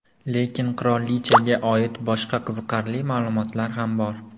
Lekin qirolichaga oid boshqa qiziqarli ma’lumotlar ham bor.